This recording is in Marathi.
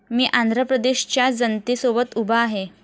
मी आंध्रप्रदेशच्या जनतेसोबत उभा आहे.